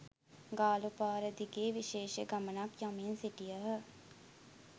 ගාලු පාර දිගේ විශේෂ ගමනක්‌ යමින් සිටියහ.